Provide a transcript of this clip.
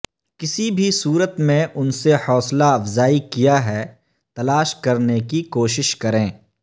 کسی بھی صورت میں ان سے حوصلہ افزائی کیا ہے تلاش کرنے کی کوشش کریں